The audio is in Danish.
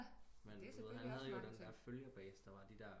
Men han havde jo den der følgerbase der var de der